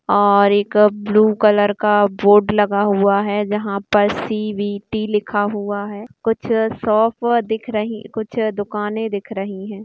और एक blue colour का बोर्ड लगा हुआ है जहां पर सिईऐटी लिखा हुआ है कुछ शॉप दिख रहे हैं कुछ दुकाने दिख रही है।